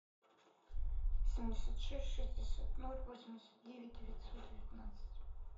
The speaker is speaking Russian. семьдесят шесть шестьдесят ноль восемьдесят девять девятьсот девятнадцать